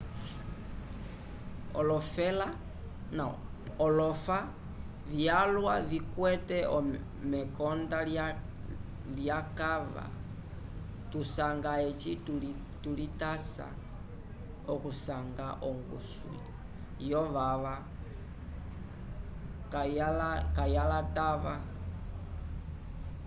olofa vyalwa tukwete mekonda lyekava tusanga eci tulitasa okusanga ongusu yovava kayalatava